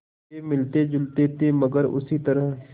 वे मिलतेजुलते थे मगर उसी तरह